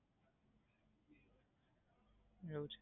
plan change કરવું પડે bill ભરીને.